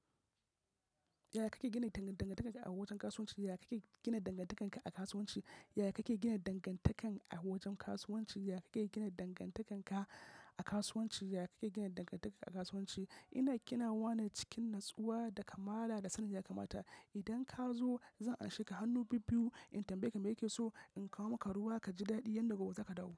Yaya kake gina dangantaka a wajen kasuwanci? Yaya kake gina dangantaka a kasuwanci? Yaya kake gina dangantaka a wajen kasuwanci? Yaya kake gina dangantaka a kasuwanci? Yaya kake gina dangantaka a kasuwanci? Ina gina wane cikin natsuwa da kamala da sanin ya kamata. Idan ka zo zan anshe ka hannu bibbiyu in tambaye ka me yake so. In kawo maka ruwa ka ji daɗi, yanda gobe zaka dawo.